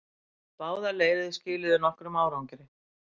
Báðar leiðir skiluðu nokkrum árangri.